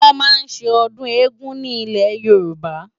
Wòn má n sé òdùn égùn ni Ilé Yoruba